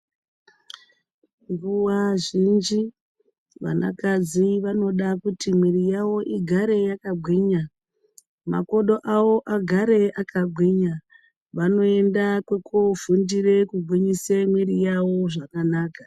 Nguwa zhinji, vanakadzi vanoda kuti mwiiri yavo igare yakagwinya, makodo avo agare akagwinya. Vanoenda kwekoogwinyise mwiiri yavo igare zvakanaka.